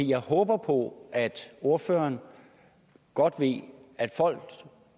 jeg håber på at ordføreren godt ved at folk